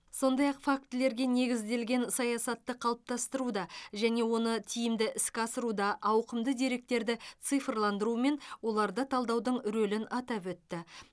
сондай ақ фактілерге негізделген саясатты қалыптастыруда және оны тиімді іске асыруда ауқымды деректерді цифрландыру мен оларды талдаудың рөлін атап өтті